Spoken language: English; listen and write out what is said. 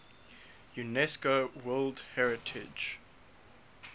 unesco world heritage